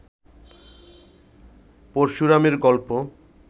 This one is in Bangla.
পরশুরামের গল্প